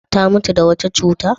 Ta mutu da wata cuta?